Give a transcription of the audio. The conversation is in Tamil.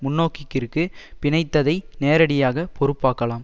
முன்னோக்கிற்கு பிணைத்ததை நேரடியாக பொறுப்பாக்கலாம்